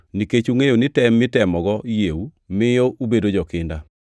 nikech ungʼeyo ni tem mitemogo yieu miyo ubedo jokinda.